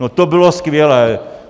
No to bylo skvělé!